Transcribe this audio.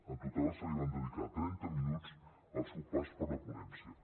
en total se li van dedicar trenta minuts al seu pas per la ponència